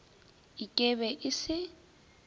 ik e be e se